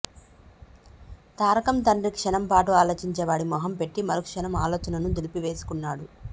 తారకం తండ్రి క్షణం పాటు ఆలోచించేవాడి మొహం పెట్టి మరుక్షణం ఆలోచనను దులిపేసుకున్నాడు